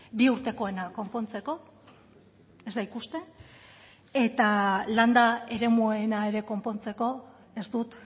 bi urtekoena konpontzeko ez da ikusten eta landa eremuena ere konpontzeko ez dut